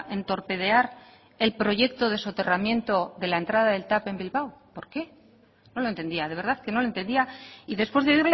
en torpedear el proyecto de soterramiento de la entrada del tav en bilbao por qué no lo entendía de verdad que no lo entendía y después de